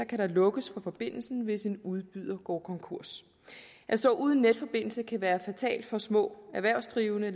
kan der lukkes for forbindelsen hvis en udbyder går konkurs at stå uden netforbindelse kan være fatalt for små erhvervsdrivende